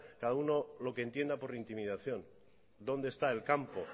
cada uno lo que entienda por intimidación dónde está el campo